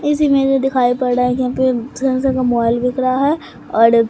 इस इमेज में दिखाई पड़ रहा है कि यहां पे सैमसंग का मोबाइल दिख रहा है और--